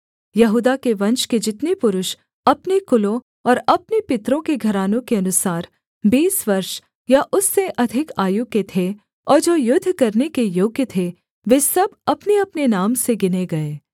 यहूदा के वंश के जितने पुरुष अपने कुलों और अपने पितरों के घरानों के अनुसार बीस वर्ष या उससे अधिक आयु के थे और जो युद्ध करने के योग्य थे वे सब अपनेअपने नाम से गिने गए